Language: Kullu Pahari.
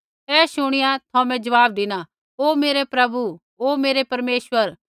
ऐ शूणीया थौमे ज़वाब धिना ओ मेरै प्रभु ओ मेरै परमेश्वर